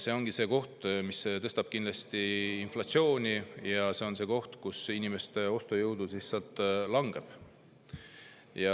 See ongi see, mis kindlasti kiirendab inflatsiooni, ja see on see, miks inimeste ostujõud siis langeb.